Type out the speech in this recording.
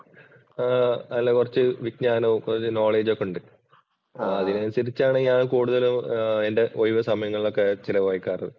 ആ നല്ല കുറച്ച് വിജ്ഞാനവും കുറച്ച് knowledge ഒക്കെയുണ്ട്. അതിനനുസരിച്ചാണ് ഞാൻ കൂടുതലും എന്‍റെ ഒഴിവുസമയങ്ങളൊക്കെ ചെലവഴിക്കാറ്